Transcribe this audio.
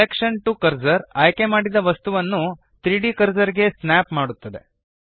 selection to cursor ಆಯ್ಕೆಮಾಡಿದ ವಸ್ತುವನ್ನು 3ದ್ ಕರ್ಸರ್ ಗೆ ಸ್ನ್ಯಾಪ್ ಮಾಡುತ್ತದೆ